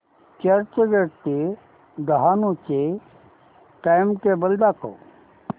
चर्चगेट ते डहाणू चे टाइमटेबल दाखव